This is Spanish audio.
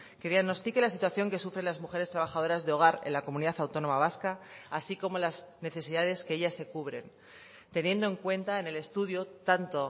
que diagnostique la situación que sufren las mujeres trabajadoras de hogar en la comunidad autónoma vasca así como las necesidades que ellas se cubren teniendo en cuenta en el estudio tanto